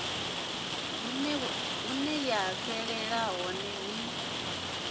hune ya fhelela hone ni